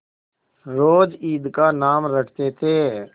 रोज ईद का नाम रटते थे